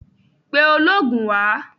Pe oloogun wá!